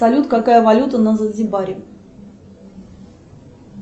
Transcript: салют какая валюта на занзибаре